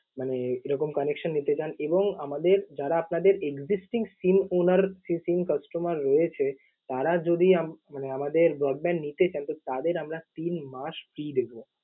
মানে এরকম connection নিতে চান এবং আমাদের যারা আপনাদের existing SIM owner facing customer রয়েছে, তারা যদি উম মানে আমাদের broadband নিতে চান তো তাদের আমরা তিন মাস free দেব।